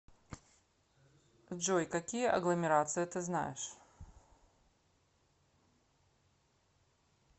джой какие агломерация ты знаешь